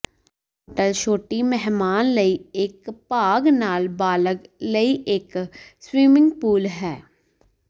hotel ਛੋਟੀ ਮਹਿਮਾਨ ਲਈ ਇੱਕ ਭਾਗ ਨਾਲ ਬਾਲਗ ਲਈ ਇਕ ਸਵਿਮਿੰਗ ਪੂਲ ਹੈ